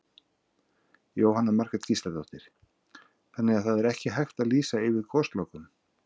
Jóhanna Margrét Gísladóttir: Þannig að það er ekki hægt að lýsa yfir goslokum?